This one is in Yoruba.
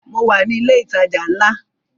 Mo wà ní ilẹ̀ ìtajà ńlá